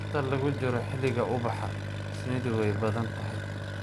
Inta lagu jiro xilliga ubaxa, shinnidu way badan tahay.